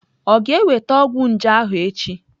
Ọ ga-enweta ọgwụ nje ahụ echi?